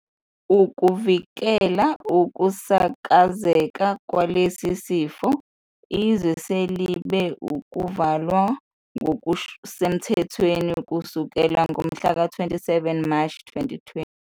Ukuvikela ukusakazeka kwalesi sifo, izwe selibe ukuvalwa ngokusemthethweni kusukela ngomhlaka 27 Mashi 2020.